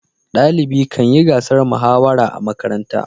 dalibi Kan yi gasar muhawara a makaranta